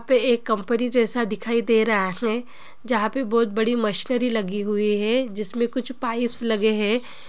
यहां पे एक कंपनी जैसा दिखाई दे रहा है जहाँ पे बहुत बड़ी मशीनरी लगी हुई है जिसमे कुछ पाइप्स लगे है।